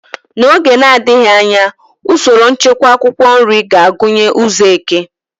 N'oge na-adịghị anya, usoro nchekwa akwụkwọ nri ga-agụnye ụzọ eke.